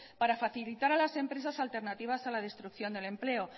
para facilitar a las empresas alternativas a la destrucción del empleo